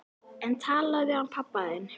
En talaðu við hann pabba þinn.